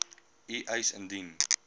u eis indien